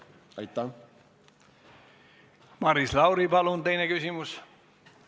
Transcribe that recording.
Maris Lauri, palun teine küsimus!